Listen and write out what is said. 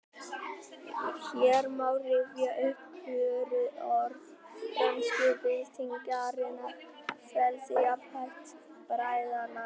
Hér má rifja upp kjörorð frönsku byltingarinnar: Frelsi, jafnrétti, bræðralag